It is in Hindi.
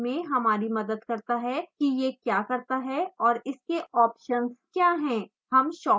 यह पता लगाने में हमारी मदद करता है कि यह क्या करता है और इसके ऑप्शंस क्या हैं